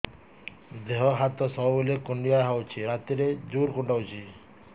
ଦେହ ହାତ ସବୁବେଳେ କୁଣ୍ଡିଆ ହଉଚି ରାତିରେ ଜୁର୍ କୁଣ୍ଡଉଚି